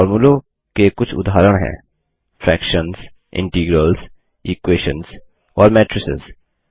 फोर्मुलों के कुछ उदाहरण हैं fractionsफ्रैक्शन्स integralsइंटिग्रैल्स equationsइक्वैशन्स और matricesमैट्रिसेस